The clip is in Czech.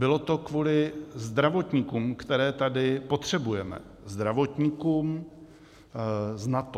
Bylo to kvůli zdravotníkům, které tady potřebujeme, zdravotníkům z NATO.